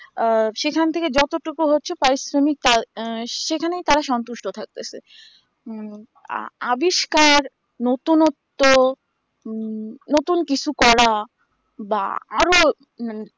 অ সেখান থেকে যতটুকু হচ্ছে পারিশ্রমিক কাজ আহ সেখানে তারা তো সন্তুষ্ট থাকতেছে উম আবিষ্কার নতুনত্বউম নতুন কিছু করা বা আরো উম